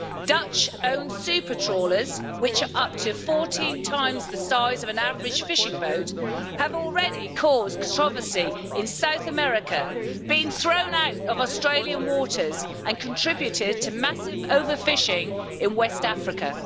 Dutch owned super trawlers, which are up to 14 times the size of an average fishing boat, have already caused controversy in South America, have been thrown out of Australian waters, and have contributed to massive overfishing in West Africa.